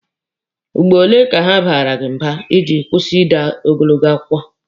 Ugboro ole ka ha baara gị mba ka ịkwụsị ide ogologo akụkọ?